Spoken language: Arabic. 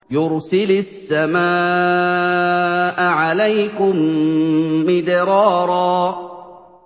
يُرْسِلِ السَّمَاءَ عَلَيْكُم مِّدْرَارًا